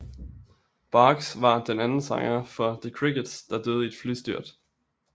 Box var den anden sanger for The Crickets der døde i et flystyrt